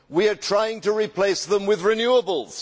We are trying to replace them with renewables.